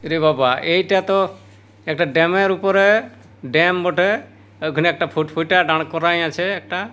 ইরে বাবা। এইটা তো একটা ড্যাম -এর উপরে ড্যাম বটে। ওখানে একটা ফুট ফুটা দাড়করাই আছে একটা ।